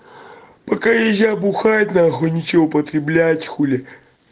пока нельзя бухать на хуй ничего употреблять хули